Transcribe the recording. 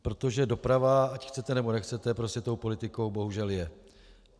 Protože doprava, ať chcete, nebo nechcete, prostě tou politikou bohužel je.